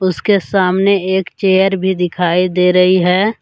उसके सामने एक चेयर भी दिखाई दे रही है।